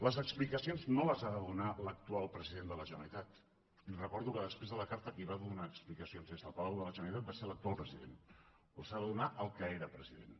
les explicacions no les ha de donar l’actual president de la generalitat li recordo que després de la carta qui va donar explicacions des del palau de la generalitat va ser l’actual president les ha de donar el que era president